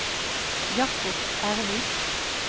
Jacob Ervik